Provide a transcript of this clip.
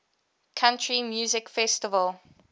country music festival